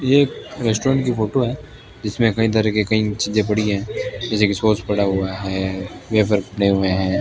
ये एक रेस्टोरेंट की फोटो है जिसमें कई तरह के कई चीजे पड़ी है जैसे की सॉस पड़ा हुआ है वेफर पड़े हुए है।